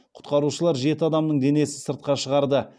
құтқарушылар жеті адамның денесін сыртқа шығарды